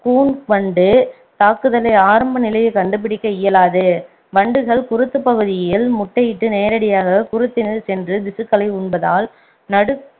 கூன் வண்டு தாக்குதலை ஆரம்ப நிலையில் கண்டுபிடிக்க இயலாது வண்டுகள் குருத்துப் பகுதிகயில் முட்டையிட்டு நேரடியாக குருத்தினுள் சென்று திசுக்களை உண்பதால் நடு